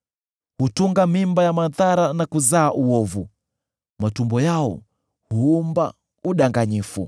Hutunga mimba ya madhara na kuzaa uovu; matumbo yao huumba udanganyifu.”